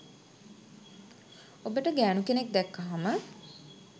ඔබට ගෑනු කෙනෙක් දැක්කහම